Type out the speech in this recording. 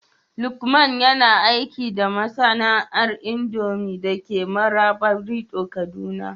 Lukman yana aiki da masana'antar indomie dake Marabarido, kaduna